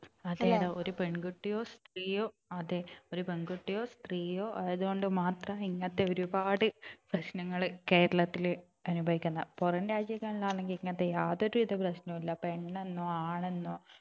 അതേടാ ഒരു പെൺകുട്ടിയോ സ്ത്രീയോ അതെ ഒരു പെൺകുട്ടിയോ സ്ത്രീയോ ആയതുകൊണ്ട് മാത്രാ ഇങ്ങനത്തെ ഒരുപാട് പ്രശ്നങ്ങൾ കേരളത്തിൽ അനുഭവിക്കുന്നത് പുറം രാജ്യങ്ങളിൽ ആണെങ്കിൽ ഇങ്ങനത്തെ യാതൊരുവിധ പ്രശ്നങ്ങളും ഇല്ല പെണ്ണെന്നോ ആണെന്നോ